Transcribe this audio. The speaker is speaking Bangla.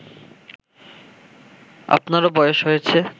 আপনারও বয়স হয়েছে